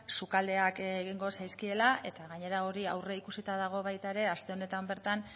sukaldeak egingo zaizkiela eta gainera hori aurreikusita dago baita ere aste honetan bertan